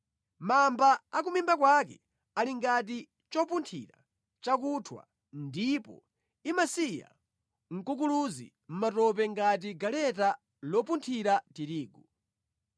Mamba a ku mimba kwake ali ngati chopunthira chakunthwa ndipo imasiya mkukuluzi mʼmatope ngati galeta lopunthira tirigu.